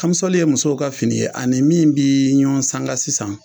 Kamisɔli ye musow ka fini ye a ni min bi ɲɔgɔn sanga sisan